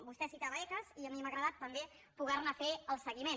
vostè citava ecas i a mi m’ha agradat també poder ne fer el seguiment